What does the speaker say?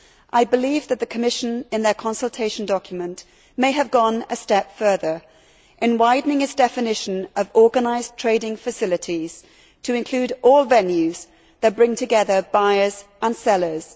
I believe that the Commission, in their consultation document, may have gone a step further in widening its definition of organised trading facilities to include all venues that bring together buyers and sellers.